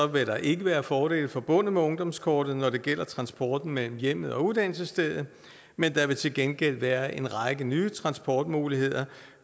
vil der ikke være fordele forbundet med ungdomskortet når det gælder transporten mellem hjemmet og uddannelsesstedet men der vil til gengæld være en række nye transportmuligheder